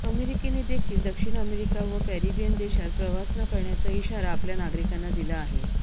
अमेरिकेनेदेखील दक्षिण अमेरिका व कॅरेबियन देशांत प्रवास न करण्याचा इशारा आपल्या नागरिकांना दिला आहे